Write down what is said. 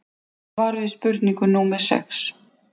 Svar við spurningu númer sex